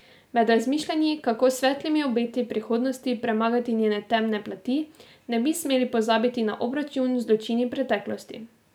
Med razmišljanji, kako s svetlimi obeti prihodnosti premagati njene temne plati, ne bi smeli pozabiti na obračun z zločini preteklosti.